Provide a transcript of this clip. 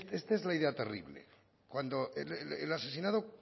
esta es la idea terrible cuando el asesinado